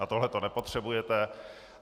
A tohle to nepotřebujete.